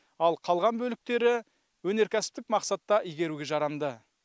ал қалған бөліктері өнеркәсіптік мақсатта игеруге жарамды